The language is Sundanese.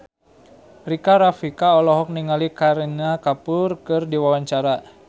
Rika Rafika olohok ningali Kareena Kapoor keur diwawancara